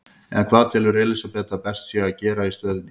En hvað telur Elísabet að best sé að gera í stöðunni?